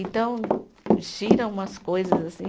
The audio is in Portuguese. Então, giram umas coisas assim.